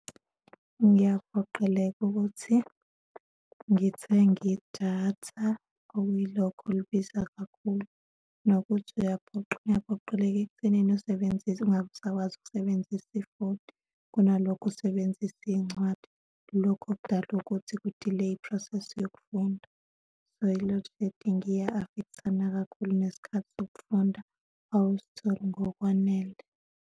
Ngiyaphoqeleka ukuthi ngithenge idatha okuyilokho olibiza kakhulu, nokuthi uyaphoqeleka ekuthenini usebenzise ungabe usakwazi ukusebenzisa ifoni, kunalokho usebenzise iy'ncwadi. Lokho kudala ukuthi ku-deley-a i-process yokufunda. So, i-loadshedding iya-affect-ana kakhulu nesikhathi sokufunda, awusitholi ngokwanele.